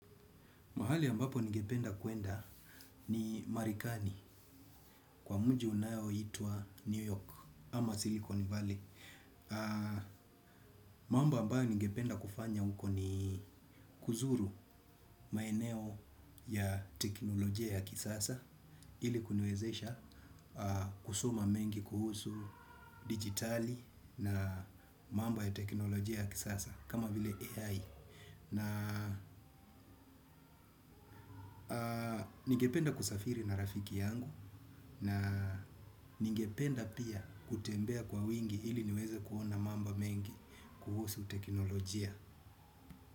Mahali ambapo ningependa kwenda ni marekani kwa mjii unaoitwa New York ama Silicon Valley. Mamba ambayo ningependa kufanya huko ni kuzuru maeneo ya teknolojia ya kisasa ili kuniwezesha kusoma mengi kuhusu dijitali na mambo ya teknolojia ya kisasa kama vile AI. Na ningependa kusafiri na rafiki yangu na ningependa pia kutembea kwa wingi ili niweze kuona mambo mengi kuhusu teknolojia.